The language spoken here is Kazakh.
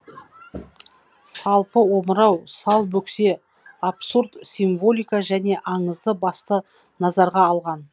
салпы омырау сал бөксе абсурд символика және аңызды басты назарға алған